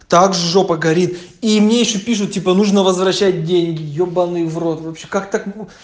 так жопа горит и мне ещё пишут типа нужно возвращать деньги ебанный в рот вообще как так можно